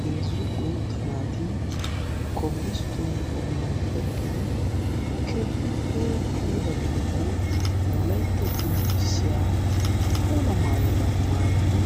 heezzu guutta naati kobilistooniyan eqqidi keehippe puula gidida wolaytta qonccissiya puula mayuwa mayyidi